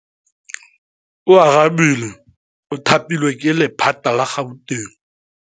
Oarabile o thapilwe ke lephata la Gauteng.